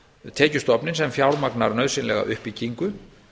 tekjustofninn sem fjármagnar nauðsynlega uppbyggingu